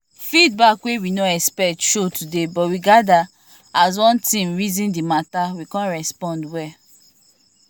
feedback wey we no expect show today but we gather as one team reason the mata we come respond well